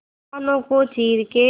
तूफानों को चीर के